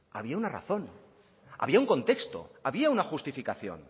había una razón había un contexto había una justificación